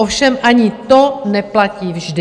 Ovšem ani to neplatí vždy.